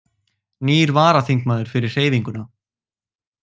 Nýr varaþingmaður fyrir Hreyfinguna